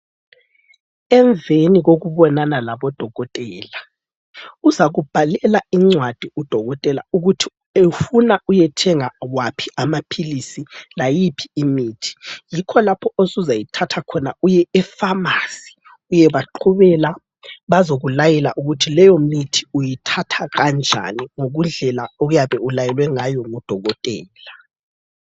Emveni kokubonana labodokotela uzakubhalela incwadi udokotela ukuthi ufuna uyethenga waphi amaphilisi, layiphi imithi yikho lapho osuzayithatha khona uye efamasi uyebaqhubela bazokulayela ukuthi leyo mithi uyithatha kanjani kundlela oyabe ulayelwe ngayo ngudokotela.